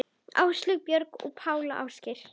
Áslaug, Björg og Páll Ásgeir.